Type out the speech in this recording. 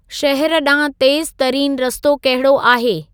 शहर ॾांहुं तेज़ तरीनि रस्तो कहिड़ो आहे